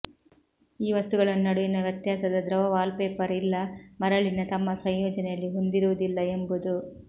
ಈ ವಸ್ತುಗಳನ್ನು ನಡುವಿನ ವ್ಯತ್ಯಾಸ ದ್ರವ ವಾಲ್ಪೇಪರ್ ಇಲ್ಲ ಮರಳಿನ ತಮ್ಮ ಸಂಯೋಜನೆಯಲ್ಲಿ ಹೊಂದಿರುವುದಿಲ್ಲ ಎಂಬುದು